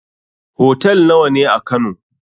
Hotel nawa ne a kano?